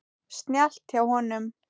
Snjallt hjá honum.